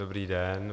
Dobrý den.